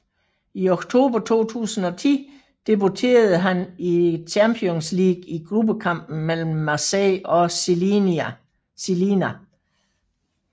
I oktober 2010 debuterede han i Champions League i gruppekampen mellem Marseille og Žilina